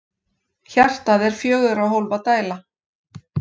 Hjartað er fjögurra hólfa dæla.